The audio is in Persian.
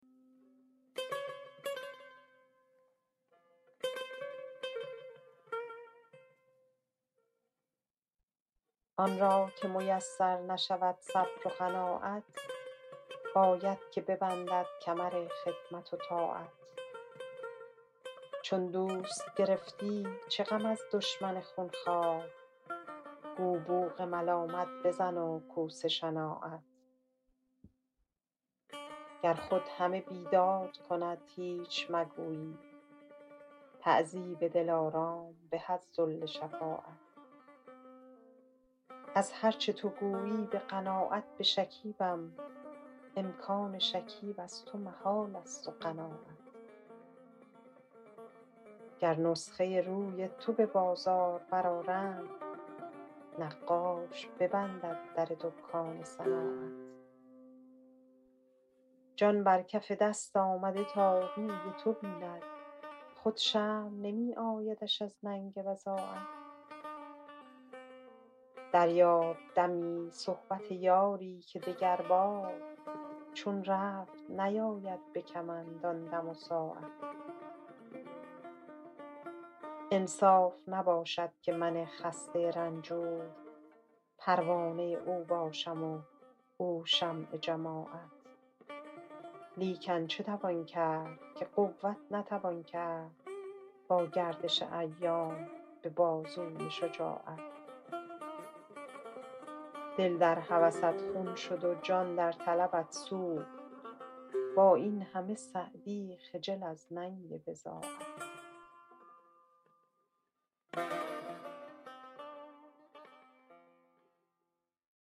آن را که میسر نشود صبر و قناعت باید که ببندد کمر خدمت و طاعت چون دوست گرفتی چه غم از دشمن خونخوار گو بوق ملامت بزن و کوس شناعت گر خود همه بیداد کند هیچ مگویید تعذیب دلارام به از ذل شفاعت از هر چه تو گویی به قناعت بشکیبم امکان شکیب از تو محالست و قناعت گر نسخه روی تو به بازار برآرند نقاش ببندد در دکان صناعت جان بر کف دست آمده تا روی تو بیند خود شرم نمی آیدش از ننگ بضاعت دریاب دمی صحبت یاری که دگربار چون رفت نیاید به کمند آن دم و ساعت انصاف نباشد که من خسته رنجور پروانه او باشم و او شمع جماعت لیکن چه توان کرد که قوت نتوان کرد با گردش ایام به بازوی شجاعت دل در هوست خون شد و جان در طلبت سوخت با این همه سعدی خجل از ننگ بضاعت